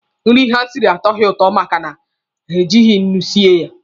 Nri ha siri atọghị ụtọ maka na ha ejighi nnu sie ya.